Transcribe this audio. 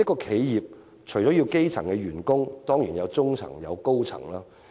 企業除了有基層員工，當然也有中層和高層員工。